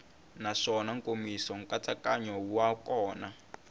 naswona nkomiso nkatsakanyo wa kona